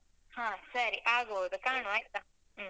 ಹ ಸರಿ, ಆಗ್ಬೋದು. ಕಾಣುವ ಆಯ್ತಾ? ಹ್ಮ್.